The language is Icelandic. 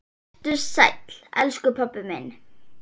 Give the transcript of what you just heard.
Vertu sæll, elsku pabbi minn.